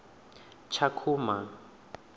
tshakhuma